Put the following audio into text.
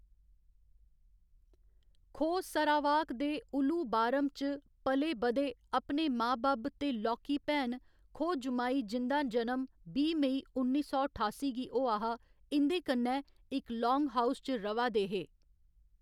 खो Sarawak दे Ulu Baram च पले बधे, अपने मां बब्ब ते लौह्‌‌‌की भैन, खो जुमाई जिं'दा जन्म बीह्‌ मई, उन्नी सौ ठासी गी होआ हा, इं'दे कन्नै इक लान्गहाउस च र'वा दे हे।